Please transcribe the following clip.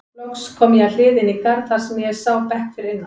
Loks kom ég að hliði inn í garð þar sem ég sá bekk fyrir innan.